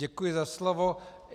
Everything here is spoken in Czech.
Děkuji za slovo.